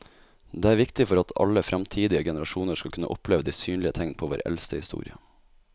Det er viktig for at alle fremtidige generasjoner skal kunne oppleve de synlige tegn på vår eldste historie.